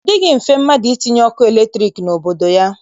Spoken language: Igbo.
Ọ dịghị mfe mmadụ itinye ọkụ latriki n'obodo ya